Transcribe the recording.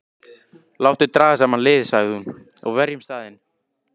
Láttu draga saman lið, sagði hún,-og verjum staðinn.